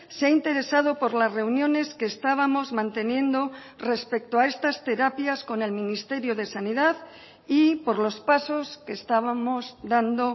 se ha interesado por las reuniones que estábamos manteniendo respecto a estas terapias con el ministerio de sanidad y por los pasos que estábamos dando